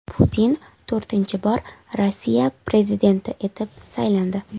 Putin to‘rtinchi bor Rossiya prezidenti etib saylandi.